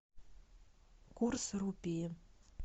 курс рупии